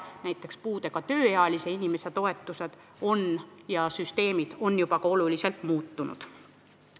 Näiteks on puudega tööealise inimese toetussüsteemid juba oluliselt muutunud.